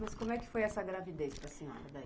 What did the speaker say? Mas como é que foi essa gravidez com a senhora daí?